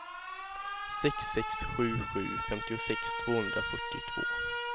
sex sex sju sju femtiosex tvåhundrafyrtiotvå